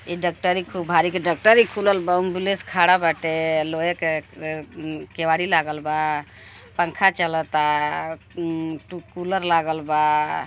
इ डक्टरी इ खूब भारी के डक्टरी खुलल बा। एम्बुलेंस खड़ा बाटे। लोहे के अ ए एम् केवाड़ी लागल बा। पंखा चलता ऊं ऊ कूलर लागल बा।